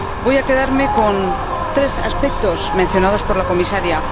Voy a quedarme con tres aspectos mencionados por la Comisaria.